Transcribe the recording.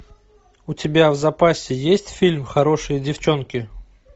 у тебя в запасе есть фильм хорошие девчонки